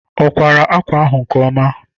Ọ kwàrà ákwà ahụ nke ọma?